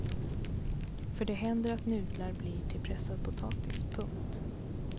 För det händer att nudlar blir till pressad potatis. punkt